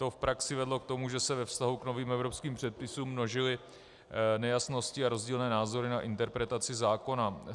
To v praxi vedlo k tomu, že se ve vztahu k novým evropským předpisům množily nejasnosti a rozdílné názory na interpretaci zákona.